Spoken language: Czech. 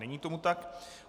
Není tomu tak.